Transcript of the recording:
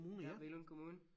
Det er Billund Kommune